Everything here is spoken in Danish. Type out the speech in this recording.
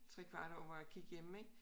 3 kvarte år hvor jeg gik hjemme ik